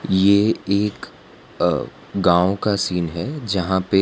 ये एक अ गांव का सीन है जहां पे --